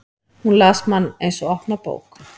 Hún las mann eins og opna bók.